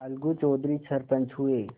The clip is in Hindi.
अलगू चौधरी सरपंच हुए